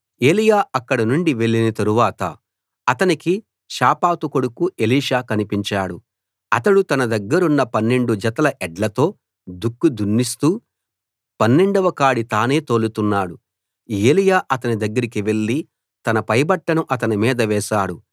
ఏలీయా అక్కడ నుండి వెళ్లిన తరువాత అతనికి షాపాతు కొడుకు ఎలీషా కనిపించాడు అతడు తన దగ్గరున్న పన్నెండు జతల ఎడ్లతో దుక్కి దున్నిస్తూ పన్నెండవ కాడి తానే తోలుతున్నాడు ఏలీయా అతని దగ్గరికి వెళ్లి తన పైబట్టను అతని మీద వేశాడు